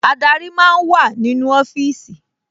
Adarí máa ń wà nínú ọfíìsì